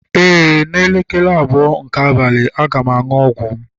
Ee, n'elekere abụọ nke abalị, a ga m aṅụ ọgwụ m